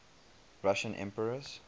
russian emperors